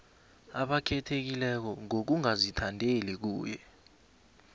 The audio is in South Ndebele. abakhethekileko ngokungazithandeli kuye